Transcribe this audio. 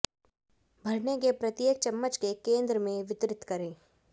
भरने के प्रत्येक चम्मच के केंद्र में वितरित करें